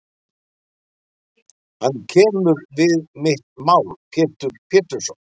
Hann kemur við mitt mál Pétur Pétursson.